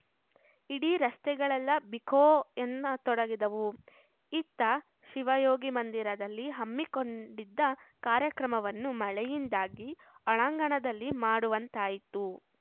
ಇಡೀ ರಸ್ತೆಗಳೆಲ್ಲಾ ಬಿಕೋ ಎನ್ನತೊಡಗಿದವು ಇತ್ತ ಶಿವಯೋಗಿ ಮಂದಿರದಲ್ಲಿ ಹಮ್ಮಿಕೊಂಡಿದ್ದ ಕಾರ್ಯಕ್ರಮವನ್ನು ಮಳೆಯಿಂದಾಗಿ ಒಳಾಂಗಣದಲ್ಲಿ ಮಾಡುವಂತಾಯಿತು